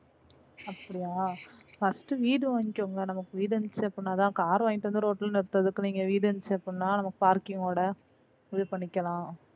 அப்டியா first வீடு வாங்கிக்கோங்க நமக்கு வீடு இருந்துச்சி அப்டினாதா car வாங்கிட்டு வந்து road ல நிறுத்தத்துக்கு நீங்க வீடு இருந்துச்சி அப்டினா parking ஓட இது பண்ணிக்கலாம்.